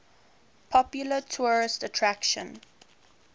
popular tourist attraction